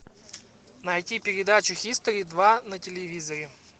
найти передачу хистори два на телевизоре